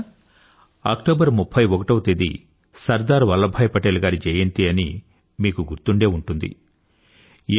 మీకు గుర్తుందా అక్టోబర్ 31 సర్దార్ వల్లభాయ్ పటేల్ గారి జయంతి అని మీకు గుర్తుండే ఉంటుంది